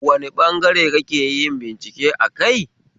Wane ɓangare kakeyin bincike akai?